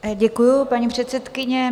Děkuju, paní předsedkyně.